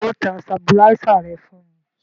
Ṣé ọ ta sabuláísà rẹ fún un?